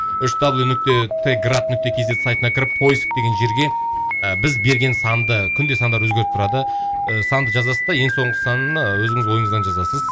үш дабл ю нүкте т град нүкте кз сайтына кіріп поиск деген жерге ы біз берген санды күнде сандар өзгеріп тұрады ы санды жазасыз да ең соңғы санын ы өзіңіз ойыңыздан жазасыз